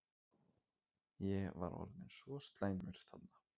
Ég var orðinn svo slæmur þarna.